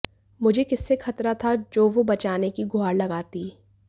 मुझे किससे खतरा था जो वो बचाने की गुहार लगाती